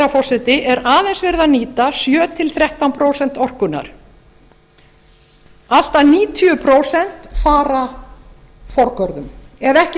forseti er aðeins verið að nýta sjö til þrettán prósent orkunnar allt að níutíu prósent fara forgörðum ef ekki